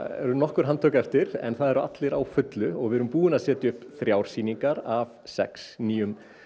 eru nokkur handtök eftir en það eru allir á fullu og við erum búin að setja upp þrjár sýningar af sex nýjum